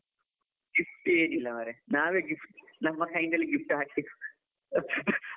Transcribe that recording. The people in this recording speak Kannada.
Gift ಏನು ಇಲ್ಲ ಮರ್ರೆ, ನಾವೇ gift ನಮ್ಮ ಕೈಯಿಂದಲೇ gift ಹಾಕಿಸಿ .